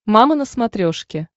мама на смотрешке